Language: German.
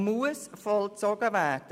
Sie muss vollzogen werden.